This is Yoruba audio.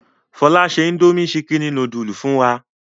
Fọlá ṣe indomie ṣíkínì núdúlù fún wa.